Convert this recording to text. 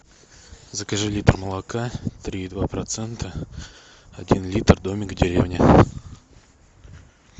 закажи литр молока три и два процента один литр домик в деревне